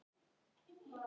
Kallaði á Helgu.